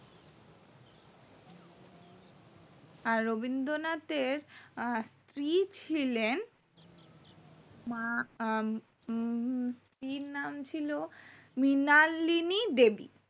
আর রবীন্দ্রনাথের আহ স্ত্রী ছিলেন উম আহ কি নাম ছিল মৃণালিনী দেবী